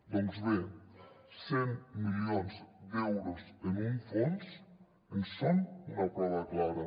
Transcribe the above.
doncs bé cent milions d’euros en un fons en són una prova clara